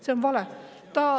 See on vale.